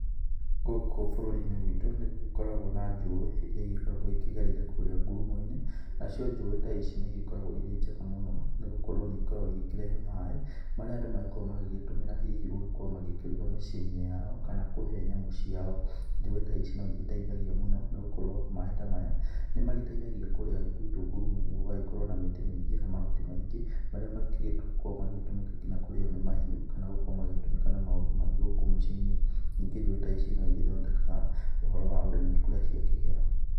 Gũkũ bũrũri-inĩ witũ nĩ gũgĩkoragwo na njũi iria igĩkoragwo ikĩgereire kũrĩa ngurumo-inĩ, nacio njũi ta ici nĩ igĩkoragwo irĩ njega mũno nĩ gũkorwo nĩ ikoragwo igĩkĩrehe maĩ marĩa andũ magĩkoragwo magĩtũmĩra hihi gũkorwo magĩkĩruga mĩciĩnĩ yao kana kũhe nyamũ ciao. Njũĩ ta ici no igĩteithagia mũno nĩ gũkorwo maĩ ta maya nĩ magĩteithagia kũrĩa gwitũ ngurumo gũgagĩkorwo na mĩtĩ mĩ-ingĩ na mahuti maingĩ marĩa mangĩgĩkorwo magĩtũmĩka nginya kũrĩo nĩ mahiũ kana gũkorwo magĩgĩtũmĩka na maũndũ mangĩ gũkũ mĩciĩ-inĩ. Ningĩ njũi ta ici no igĩthondekaga ũhoro wa ũrĩmi kũrĩa ciakĩgera.